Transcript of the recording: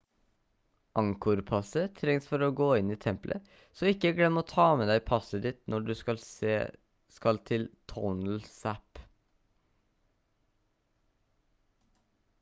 angkor-passet trengs for å gå inn i templet så ikke glem å ta med deg passet ditt når du skal til tonle sap